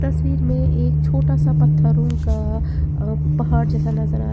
तस्वीर में एक छोटा सा पत्थरों का अ पहाड़ जैसा नजर आ रहा है।